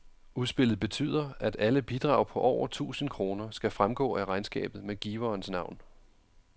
Udspillet betyder, at alle bidrag på over tusind kroner skal fremgå af regnskabet med giverens navn.